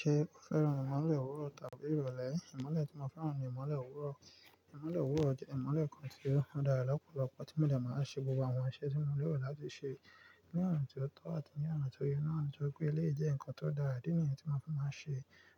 Ṣé o fẹ́ràn ìmọ́lẹ̀ òwúrọ̀ tàbí ìrọ̀lẹ́? Ìmọ́lẹ̀ tí mo fẹ́ràn ni ìmọ́lẹ̀ òwúrọ̀. Ìmọ́lẹ̀ òwúrọ̀ jẹ́ ìmọ́lẹ̀ kan tí ó dára lọ́pọ̀lọpọ̀ tí ó máa ń ṣe gbogbo àwọn iṣẹ́ tí mo léèro láti ṣe ní ọ̀nà tó tọ́ àti ní ọ̀nà tó yẹ. Ní ọ̀nà tó pé ilé jẹ́ nǹkan tó dára, ìdí nìyẹn tí mo máa ń fẹ́ máa ṣe